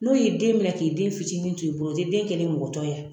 N'o ye den minɛ k'i den fitinin t'i bolo o te den kɛlen ye mɔgɔtɔ y'a